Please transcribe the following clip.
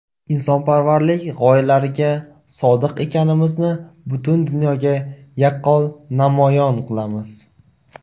insonparvarlik gʼoyalariga sodiq ekanimizni butun dunyoga yaqqol namoyon qilamiz.